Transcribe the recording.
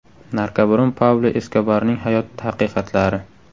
Narkobaron Pablo Eskobarning hayot haqiqatlari.